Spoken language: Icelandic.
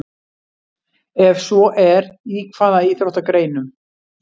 Ef svo er, í hvaða íþróttagreinum?